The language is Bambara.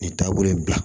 Nin taabolo in bila